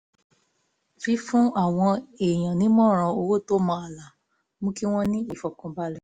fífún àwọn èèyàn nímọ̀ràn owó tó mọ ààlà mú kí wọ́n ní ìfọ̀kànbalẹ̀